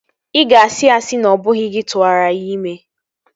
Ị ga-asị asị na ọ bụghị gị tụwara ya ime